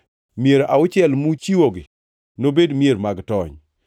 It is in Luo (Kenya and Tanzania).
Mier auchiel muchiwogi nobed mier mag tony.